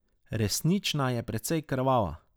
Resnična je precej krvava.